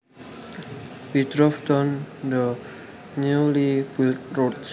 We drove down the newly built roads